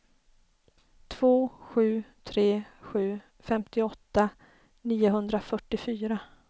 två sju tre sju femtioåtta niohundrafyrtiofyra